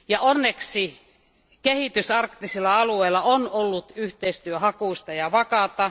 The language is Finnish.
Onneksi kehitys arktisilla alueilla on ollut yhteistyöhakuista ja vakaata.